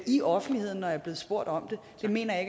i offentligheden når jeg er blevet spurgt om det det mener jeg